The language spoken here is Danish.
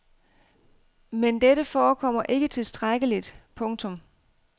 Men dette forekommer ikke tilstrækkeligt. punktum